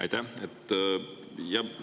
Aitäh!